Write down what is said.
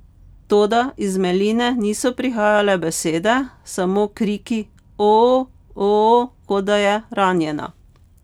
Toda iz Meline niso prihajale besede, samo kriki oooh, oooh, kot da je ranjena.